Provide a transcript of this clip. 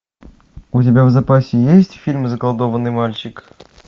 у тебя в запасе есть фильм заколдованный мальчик